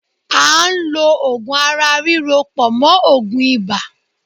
À ń lọ Ògùn ara ríro pọ̀ mọ́ Ògùn ibà.